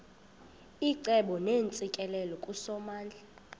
icebo neentsikelelo kusomandla